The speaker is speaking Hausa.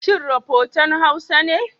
Shin rafotan Hausa ne?